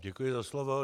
Děkuji za slovo.